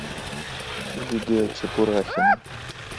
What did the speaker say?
лидия чепурахина